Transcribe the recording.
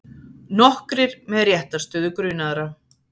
Nokkrir með réttarstöðu grunaðra